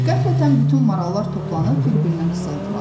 Qəflətən bütün marallar toplanıb bir-birinə qısıldılar.